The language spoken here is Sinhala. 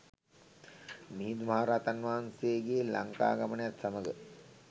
මිහිඳු මහ රහතන් වහන්සේගේ ලංකාගමනයත් සමග